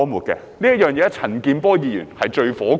這一點，陳健波議員是最氣憤的。